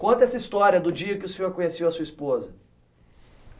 Conta essa história do dia que o senhor conheceu a sua esposa.